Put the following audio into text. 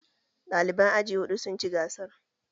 Ɗaliban aji huɗu sun ci gasar